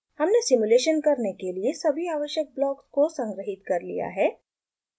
हमने सिम्युलेशन करने के लिए सभी आवश्यक ब्लॉक्स को संगृहीत कर लिया है